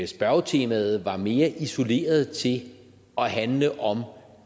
spørgetemaet var mere isoleret til at handle om